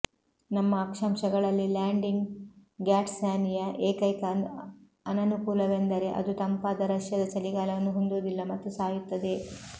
ನಮ್ಮ ಅಕ್ಷಾಂಶಗಳಲ್ಲಿ landing gazania ಏಕೈಕ ಅನನುಕೂಲವೆಂದರೆ ಅದು ತಂಪಾದ ರಷ್ಯಾದ ಚಳಿಗಾಲವನ್ನು ಹೊಂದುವುದಿಲ್ಲ ಮತ್ತು ಸಾಯುತ್ತದೆ